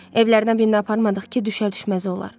Evlərdən birinə aparmadıq ki, düşər-düşməz olar.